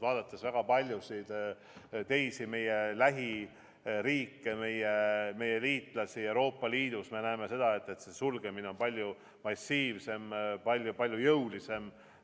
Vaadates väga paljusid meie lähiriike, meie liitlasi Euroopa Liidus, me näeme seda, et sulgemine on palju massiivsem, palju-palju jõulisem.